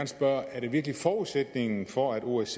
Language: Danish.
spørge er det virkelig forudsætningen for at osce